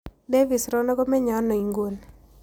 Davis rono komenye aino inguni